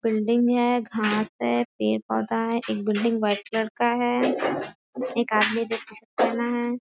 Building हैं घास हैं पेड़-पौधा हैं एक बिल्डिंग व्हाइट कलर का हैं एक आदमी जो टी-शर्ट पहना है।